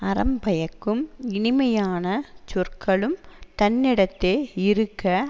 அறம் பயக்கும் இனிமையான சொற்களும் தன்னிடத்தே இருக்க